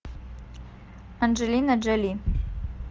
анджелина джоли